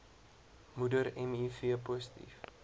moeder miv positief